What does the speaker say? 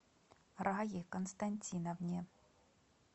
рае константиновне